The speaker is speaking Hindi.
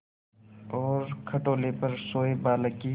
और खटोले पर सोए बालक की